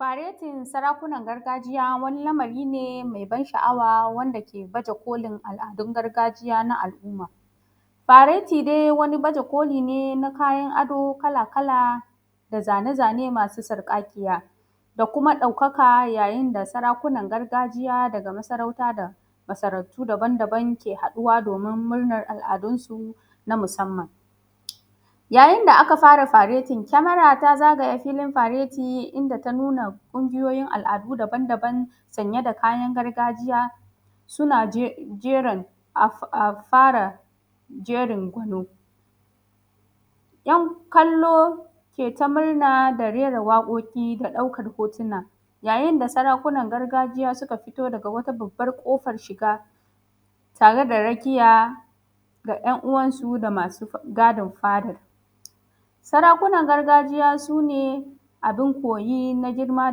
Faretin sarakunan gargajiya wani lamari ne me ban sha’awa wanda ke baje kolin al’adun gargajiya na alumma, fareti dai wani bajekoli ne na kayan ado kala-kala da zane-zane masu sarƙaƙiya da kuma ɗaukaka yayin da sarakunan gargajiya daga masarauta da masarautu daban-daban ke haɗuwa domin murnan al’adunsu na musamman yayin da aka fara faretin kemara ta zagaye filin fareti inda ta nuna ƙungiyoyin al’adu daban-dabna sanye da kayan gargajiya. Suna jera bara jerin gwanon kallo ke ta murna ke rera waƙoƙi da ɗaukan hotuna, yayin da sarakunan gargajiya suka fito daga wata babbar ƙofar shiga tare da rakiya ga ‘yan uwansu da masu gadin fada. Sarakunan gargajiya su ne abun koyi na girma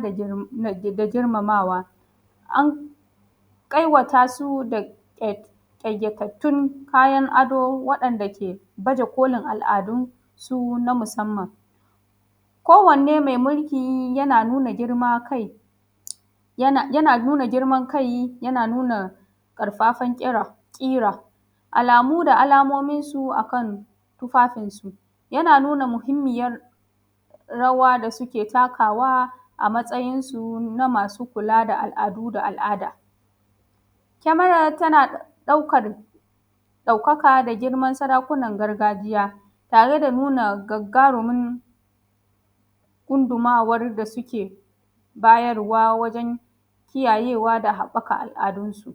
da girmamawa an ƙawata su ƙayatattun kayan ado waɗanda ke baje kolin al’adunsu na musamman kan wanne me mulki yana nuna girma kai, yana nuna girman kai yana nuna ƙarfafan ƙira, alamu da alamominsu akan tufafinsu yana nuna muhinmiyar rawa da suke takawa a matsayin su na masu kula da al’adu da al’ada kamar tana ɗaukar ɗaukaka da girman sarakunan gargajya tare da nuna gagarumin gundumawar da suke bayarwa wajen kiyaye wa da haɓaka al’adun su.